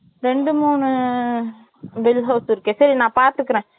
ஏய், இங்க நிறைய ரெண்டு, மூணு Belt House இருக்கு. சரி, நான் பார்த்துக்குறேன்